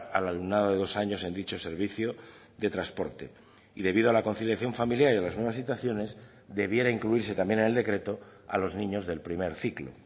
al alumnado de dos años en dicho servicio de transporte y debido a la conciliación familiar y a las nuevas situaciones debiera incluirse también en el decreto a los niños del primer ciclo